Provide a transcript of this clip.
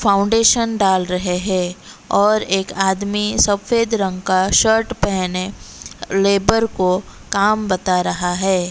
Foundation डाल रहे हैं और एक आदमी सफेद रंग का शर्ट पेहने लेबर को कम बता रहा है।